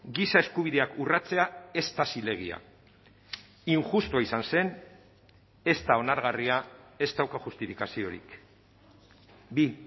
giza eskubideak urratzea ez da zilegia injustua izan zen ez da onargarria ez dauka justifikaziorik bi